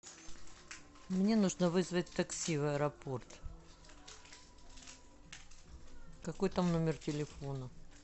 мне нужно вызвать такси в аэропорт какой там номер телефона